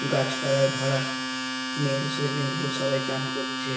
গাছপালায় ভরা নীল সুইমিং পুল সবাই চান করছে-- .